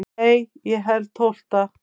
Nei ég held tólfta.